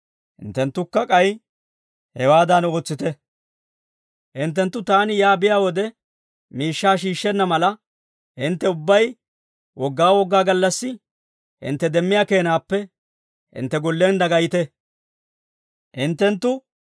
Hinttenttu taani yaa biyaa wode, miishshaa shiishshenna mala, hintte ubbay Wogaa gallassi gallassi, hintte demmiyaa keenaappe hintte gollen dagayite.